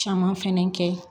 Caman fɛnɛ kɛ